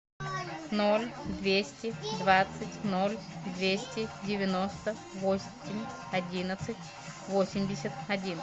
ноль двести двадцать ноль двести девяносто восемь одиннадцать восемьдесят один